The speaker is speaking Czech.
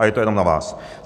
A je to jenom na vás.